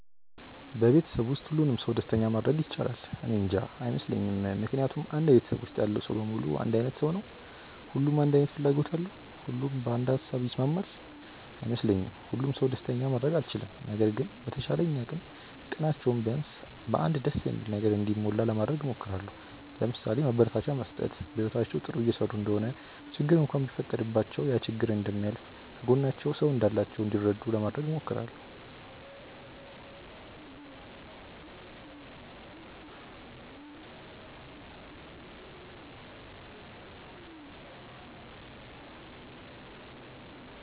በቤተሰብ ውስጥ ሁሉንም ሰው ደስተኛ ማድረግ ይቻላል? እኔንጃ። አይመስለኝም ምክንያቱም አንድ ቤተሰብ ውስጥ ያለው ሰው በሙሉ አንድ አይነት ሰው ነው? ሁሉም አንድ አይነት ፍላጎት አለው? ሁሉም በአንድ ሃሳብ ይስማማል? አይ አይመስለኝም። ሁሉንም ሰው ደስተኛ ማድረግ አልችልም። ነገር ግን በተቻለኝ አቅም ቀናቸው ቢያንስ በ አንድ ደስ በሚል ነገር እንዲሞላ ለማድረግ እሞክራለው። ለምሳሌ፦ ማበረታቻ መስጠት፣ በህይወታቸው ጥሩ እየሰሩ እንደሆነ ችግር እንኳን ቢፈጠረባቸው ያ ችግር እንደሚያልፍ፣ ከጎናቸው ሰው እንዳላቸው እንዲረዱ ለማድረግ እሞክራለው።